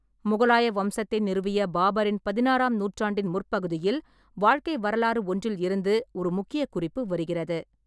முகலாய வம்சத்தை நிறுவிய பாபரின் பதினாறாம் நூற்றாண்டின் முற்பகுதியில் வாழ்க்கை வரலாறு ஒன்றில் இருந்து ஒரு முக்கிய குறிப்பு வருகிறது.